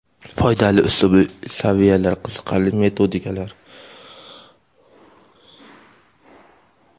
foydali uslubiy tavsiyalar, qiziqarli metodikalar;.